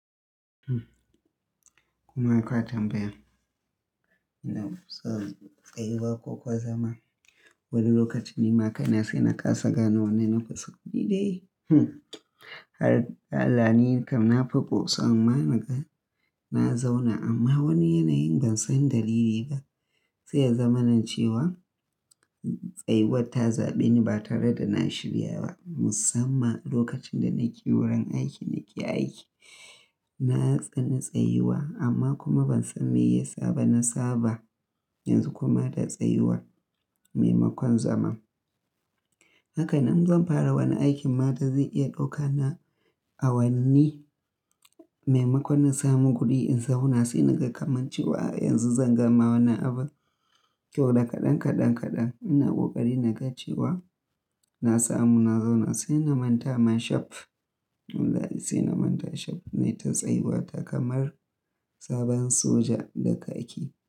Hm, kuma haka zan bayyana. Ina so tsayuwa koko zama wani lokaci ni makai na sai na kasa gane wannan na fasa kuɗi da yi. Hm, har alhali nakan nafi ƙosa amma naga na zauna amma wani yanayin ban san dalili ba. Sai ya zama nan cewa tsayuwar ta zaɓe ni ba tare da na shirya ba. Musamman lokacin da nake wurin aiki nake aiki, na tsani tsayuwa amma kuma ban san me ya saba na saba. Yanzu kuma da tsayuwar, maimakon zaman. Haka nan zan fara wani aikin mata zai iya ɗauka na awanni. Maimakon na samu kuɗi in zauna sai naga kamancewa a yanzu zan gama wannan abun. Kiwo daga kaɗan kaɗan kaɗan ina ƙoƙari naga cewa na samu na zauna sai na manta man shaf. Wallahi sai na manta shaf na yi ta tsayuwa ta kamar sabon soja da kaki.